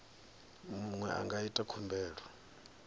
muṅwe a nga ita khumbelo